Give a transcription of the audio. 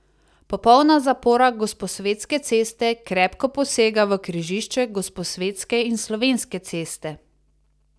Popolna zapora Gosposvetske ceste krepko posega v križišče Gosposvetske in Slovenske ceste.